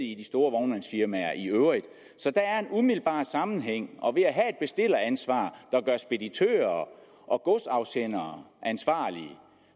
i de store vognmandsfirmaer i øvrigt så der er en umiddelbar sammenhæng og ved at have et bestilleransvar der gør speditører og godsafsendere ansvarlige